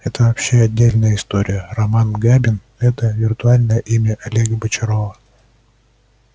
это вообще отдельная история роман габин это виртуальное имя олега бочарова